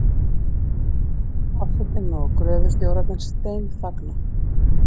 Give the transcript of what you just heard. Forsetinn og gröfustjórarnir steinþagna.